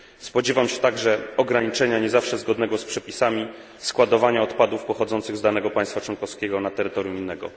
Spodziewam się także ograniczenia nie zawsze zgodnego z przepisami składowania odpadów pochodzących z danego państwa członkowskiego na terytorium innego.